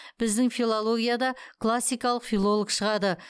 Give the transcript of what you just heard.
біздің филологияда классикалық филолог шығады